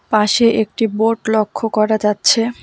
পাশে একটি বোর্ড লক্ষ্য করা যাচ্ছে।